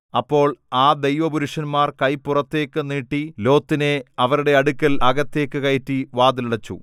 അപ്പോൾ ആ ദൈവ പുരുഷന്മാർ കൈ പുറത്തേയ്ക്ക് നീട്ടി ലോത്തിനെ അവരുടെ അടുക്കൽ അകത്ത് കയറ്റി വാതിൽ അടച്ചു